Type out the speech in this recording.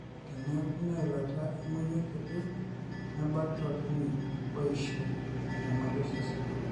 teneeku ina ilata e monyua kiti nebaki tolchani oishu enyamali osesen